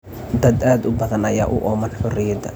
Dad aad u badan ayaa u ooman xorriyadda.